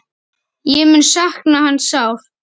Ég mun sakna hans sárt.